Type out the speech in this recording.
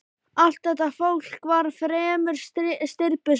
Allt þetta fólk var fremur stirðbusalegt.